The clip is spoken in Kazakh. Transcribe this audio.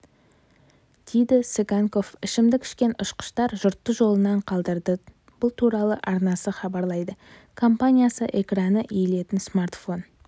дейді цыганков ішімдік ішкен ұшқыштар жұртты жолынан қалдырды бұл туралы арнасы хабарлайды компаниясы экраны иілетін смартфон